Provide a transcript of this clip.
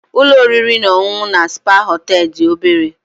Ụlọ oriri na ọṅụṅụ na spa hotel dị obere